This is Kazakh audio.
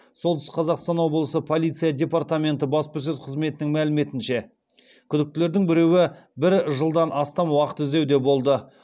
солтүстік қазақстан облысы полиция департаменті баспасөз қызметінің мәліметінше күдіктілердің біреуі бір жылдан астам уақыт іздеуде болды